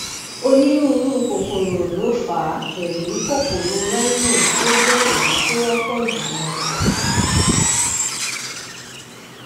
onírúurú kòkòrò ló fà á pẹlú kòkòrò rhino tó jẹ èyí tó wọpọ jùlọ